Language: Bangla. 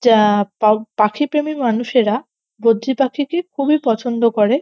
যা-আ পা পাখিপ্রেমি মানুষেরা বদ্রিপাখিকে খুবই পছন্দ করে।